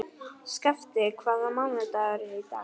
Skafti, hvaða mánaðardagur er í dag?